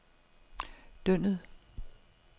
Dyndet